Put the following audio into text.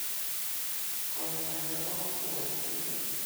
koindap ne po kakwautyet .